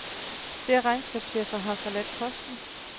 Flere regnskabschefer har forladt posten.